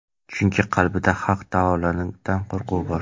Chunki, qalbida Haq taolodan qo‘rquv bor.